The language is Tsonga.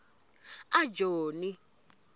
ajoni